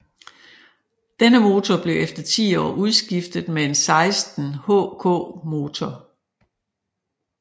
Denne motor blev efter ti år udskiftet med en 16 HK motor